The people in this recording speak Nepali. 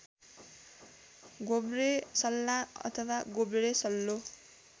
गोब्रेसल्ला अथवा गोब्रेसल्लो